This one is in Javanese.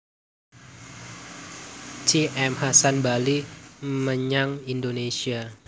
T M Hasan bali menyang Indonésia